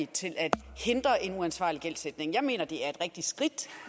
til at hindre en uansvarlig gældsætning jeg mener at det er et rigtigt skridt